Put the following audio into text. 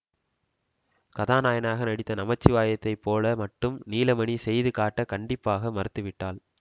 கதாநாயகனாக நடித்த நமச்சிவாயத்தைப் போல மட்டும் நீலமணி செய்து காட்டக் கண்டிப்பாக மறுத்து விட்டாள்